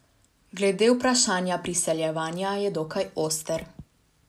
Glede vprašanja priseljevanja je dokaj oster.